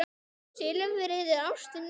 Silfrið er ástin mín.